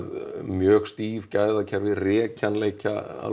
mjög stíf gæðakerfi rekjanleika alveg